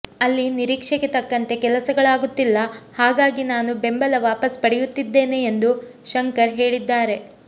ಅಲ್ಲಿ ನಿರೀಕ್ಷೆಗೆ ತಕ್ಕಂತೆ ಕೆಲಸಗಳಾಗುತ್ತಿಲ್ಲ ಹಾಗಾಗಿ ನಾನು ಬೆಂಬಲ ವಾಪಸ್ ಪಡೆಯುತ್ತಿದ್ದೇನೆ ಎಂದು ಶಂಕರ್ ಹೇಳಿದ್ದಾರೆ